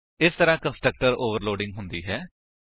ਇਸ ਤਰਾਂ constructor overloading ਹੁੰਦਾ ਹੈ